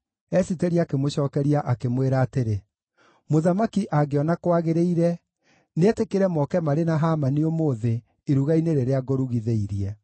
Esiteri akĩmũcookeria akĩmwĩra atĩrĩ, “Mũthamaki angĩona kwagĩrĩire, nĩetĩkĩre moke marĩ na Hamani ũmũthĩ iruga-inĩ rĩrĩa ngũrugithĩirie.”